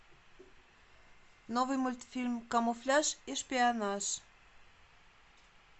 новый мультфильм камуфляж и шпионаж